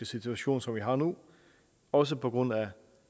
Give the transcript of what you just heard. situation som vi har nu også på grund af